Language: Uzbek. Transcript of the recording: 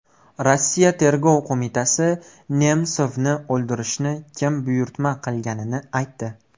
Rossiya tergov qo‘mitasi Nemsovni o‘ldirishni kim buyurtma qilganini aytdi.